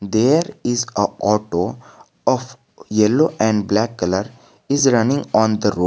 There is a auto of yellow and black colour is running on the road.